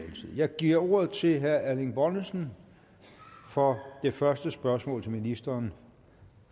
jeg giver ordet til herre erling bonnesen for det første spørgsmål til ministeren